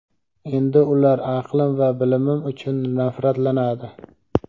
endi ular aqlim va bilimim uchun nafratlanadi.